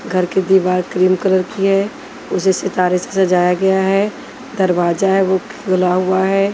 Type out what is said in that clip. घर की दीवार क्रीम कलर की है उसे सितारे से सजाया गया है दरवाजा है वो खुला हुआ है।